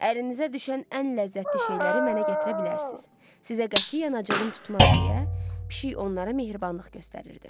Əlinizə düşən ən ləzzətli şeyləri mənə gətirə bilərsiz, sizə qətiyyən acığım tutmaz deyə pişik onlara mehribanlıq göstərirdi.